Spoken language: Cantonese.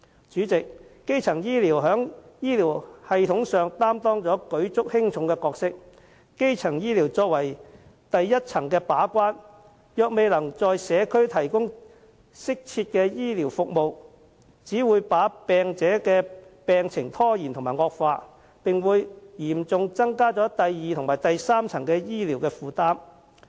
主席，基層醫療在醫療系統上擔當舉足輕重的角色，作為第一層把關，如果基層醫療未能在社區提供適切的服務，只會令病者的病情延誤及惡化，並會嚴重增加第二及第三層醫療的負擔。